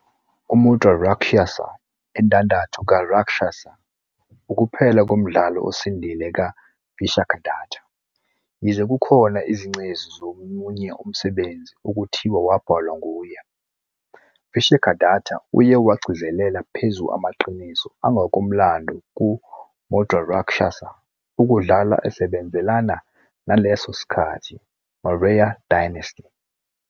"UMudrārākṣasa", "Indandatho kaRákshasa", ukuphela komdlalo osindile kaVishakhadatta, yize kukhona izingcezu zomunye umsebenzi okuthiwa wabhalwa nguye. Vishakhadatta uye wagcizelela phezu amaqiniso angokomlando ku Mudrarakshasa, ukudlala esebenzelana naleso sikhathi Maurya Dynasty.